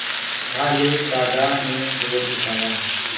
भालू दादा ने गोद उठाया